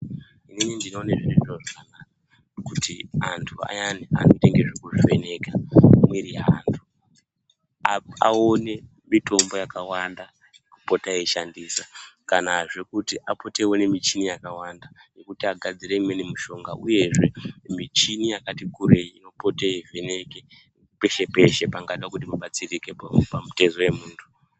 Inini ndinoona zviri zviro zvakanaka kuti antu ayani anoita ngezvekuvheneka mwiri yeantu. Aone mitombo yakawanda apote eishandisa kanazve kuti apote eiona michini yakawanda yekuti agadzire imweni mishonga. Uyezve michini yakati kurei inopota yeivheneka peshe peshe pangada kuti padetsereke pamutezo wemuntu.